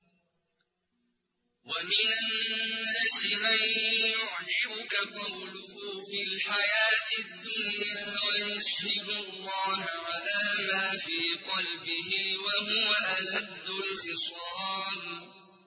وَمِنَ النَّاسِ مَن يُعْجِبُكَ قَوْلُهُ فِي الْحَيَاةِ الدُّنْيَا وَيُشْهِدُ اللَّهَ عَلَىٰ مَا فِي قَلْبِهِ وَهُوَ أَلَدُّ الْخِصَامِ